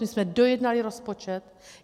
My jsme dojednali rozpočet.